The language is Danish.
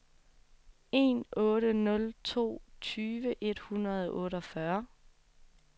en otte nul to tyve et hundrede og otteogfyrre